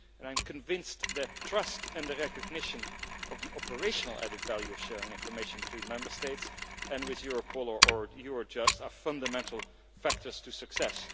I am convinced that trust and recognition of the operational added value of sharing information between Member States and with Europol or Eurojust are fundamental factors for success.